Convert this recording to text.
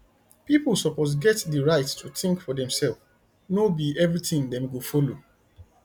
pipo suppose get di right to think for demself no be everything dem go follow